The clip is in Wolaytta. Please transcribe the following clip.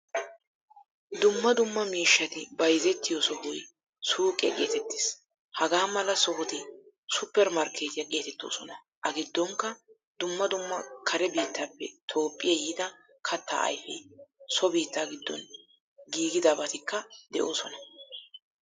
Dumma dumma miishshatti bayzzetiyo sohoy suuqiya getetees. Hagaamala sohoti supper markkettiyaa geetettoosna. A giddonikka dumma dumma kare biittappe toophphiyaa yiida katta ayfe, so biittaa giddon giigidabatikka deosona.